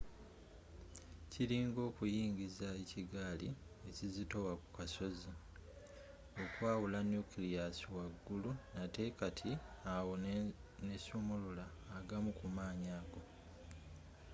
kiringa okuyiringisa ekigaali ekizitowa ku kasozi okwawula nucleus waggulu nate kati awo nesumulula agamu ku maanyi ago